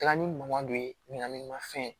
Taga ni man dɔ ye ɲiniganni ma fɛn ye